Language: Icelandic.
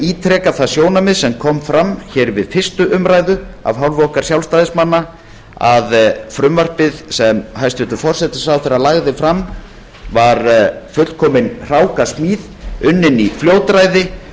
ítreka það sjónarmið sem kom fram við fyrstu umræðu af hálfu okkar sjálfstæðismanna að frumvarpið sem hæstvirtur forsætisráðherra lagði fram var fullkomin hrákasmíð unnin í fljótræði